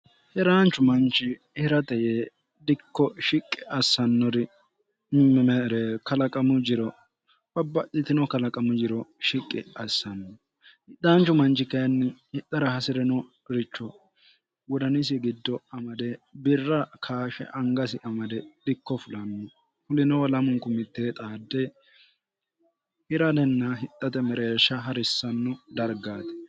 hiraanchu manchi hirate yee dikko shiqqi assannori mmeere kalaqamu jiro babbalitino kalaqamu jiro shiqqi assanno hidhaanchu manchi kayinni hidhara hasi're no richo godanisi giddo amade birra kaashe angasi amade dikko fulanno hulinoo lamunku mitte xaadde hiraenna hixate mereeshsha ha'rissanno dargaati